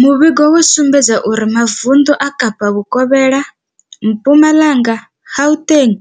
Muvhigo wo sumbedzisa uri mavundu a Kapa vhukovhela, Mpumalanga, Gauteng,